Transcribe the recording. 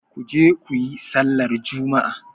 Ku je ku yi sallar juma'a!